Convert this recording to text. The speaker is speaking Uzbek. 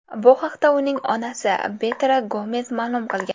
Bu haqda uning onasi Berta Gomes ma’lum qilgan.